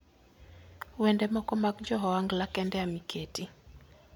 Wende moko mag jo Ohangla kende ema iketi.